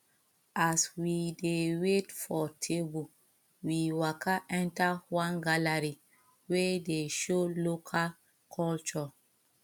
as we dey wait for table we waka enter one gallery wey dey show local culture